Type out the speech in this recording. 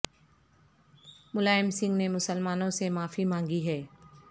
ملائم سنگھ نے مسلمانو ں سے معافی مانگی ہے